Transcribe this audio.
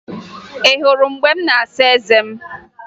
Ị hụrụ mgbe m na-asa eze m?